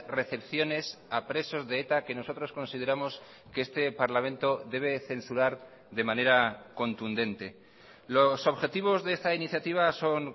recepciones a presos de eta que nosotros consideramos que este parlamento debe censurar de manera contundente los objetivos de esta iniciativa son